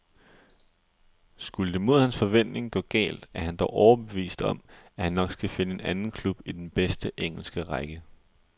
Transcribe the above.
Skulle det mod hans forventning gå galt, er han dog overbevist om, at han nok skal finde en anden klub i den bedste engelske række.